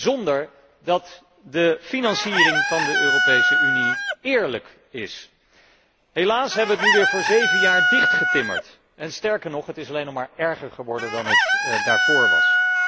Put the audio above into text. Zonder dat de financiering van de Europese Unie eerlijk is. Helaas hebben wij het nu weer voor zeven jaar dichtgetimmerd, en sterker nog, het is alleen nog maar erger geworden dan het daarvoor was.